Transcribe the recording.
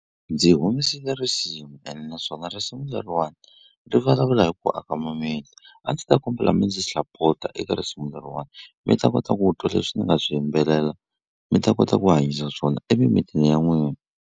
Ndzi humesile risimu ene naswona risimu leriwani ri vulavula hi ku aka mimiti a ndzi ta kombela mi ndzi sapota eka risimu leriwani mi ta kota ku twa leswi ni nga swi yimbelela mi ta kota ku hanyisa swona emimitini ya n'wina.